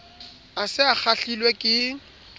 a se a kgahlilwe ke